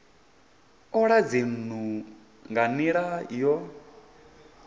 ola dzinnu nga nila yo